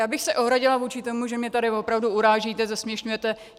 Já bych se ohradila vůči tomu, že mě tady opravdu urážíte, zesměšňujete.